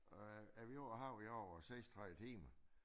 Og er vi ude på havet i over 36 timer